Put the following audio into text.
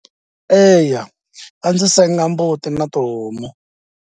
Eya a ndzi senga mbuti na tihomu.